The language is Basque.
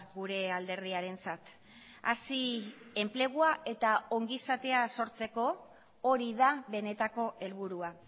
gure alderdiarentzat hazi enplegua eta ongizatea sortzeko hori da benetako helburua